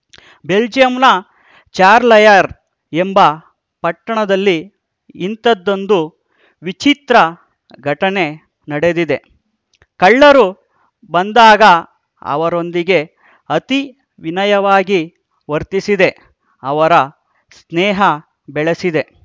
ಬೆಲ್ಜಿಯಂನ ಚಾರ್ಲಯರ್ ಎಂಬ ಪಟ್ಟಣದಲ್ಲಿ ಇಂಥದ್ದೊಂದು ವಿಚಿತ್ರ ಘಟನೆ ನಡೆದಿದೆ ಕಳ್ಳರು ಬಂದಾಗ ಅವರೊಂದಿಗೆ ಅತಿ ವಿನಯವಾಗಿ ವರ್ತಿಸಿದೆ ಅವರ ಸ್ನೇಹ ಬೆಳೆಸಿದೆ